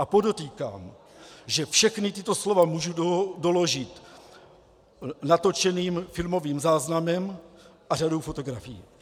A podotýkám, že všechna tato slova mohu doložit natočeným filmovým záznamem a řadou fotografií.